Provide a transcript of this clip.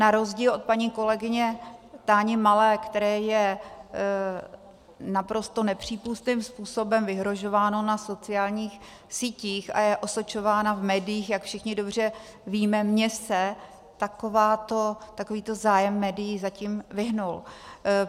Na rozdíl od paní kolegyně Táni Malé, které je naprosto nepřípustným způsobem vyhrožováno na sociálních sítích a je osočována v médiích, jak všichni dobře víme, mně se takovýto zájem médií zatím vyhnul.